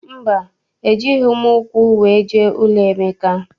Mba, ejighị m ụkwụ wee jee n'ụlọ Emeka.